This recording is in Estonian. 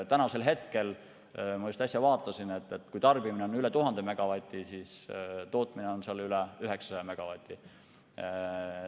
Täna, ma just äsja vaatasin, on tarbimine üle 1000 megavati, tootmisvõimsus on tasemel üle 900 megavati.